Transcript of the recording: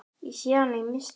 Ég sé hana í mistri.